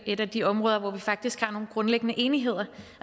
et af de områder hvor vi faktisk har nogle grundlæggende enigheder